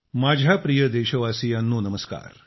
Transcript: माझ्या प्रिय देशवासियांनो नमस्कार